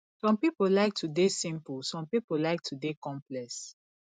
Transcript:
some pipo like to de simple some pipo like to de complex